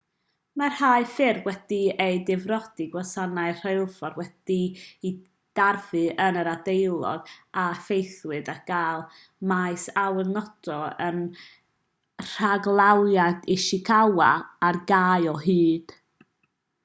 mae rhai ffyrdd wedi cael eu difrodi gwasanaeth rheilffordd wedi'i darfu yn yr ardaloedd a effeithiwyd ac mae maes awyr noto yn rhaglawiaeth ishikawa ar gau o hyd